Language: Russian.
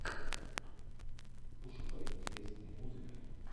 пошукай интересные музыка